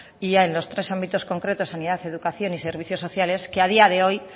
y a los tres ámbitos concretos sanidad educación y servicios sociales que a día de hoy